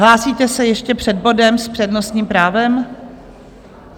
Hlásíte se ještě před bodem s přednostním právem?